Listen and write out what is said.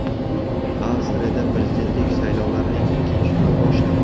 Avstriyada prezidentlik saylovlarining ikkinchi turi boshlandi.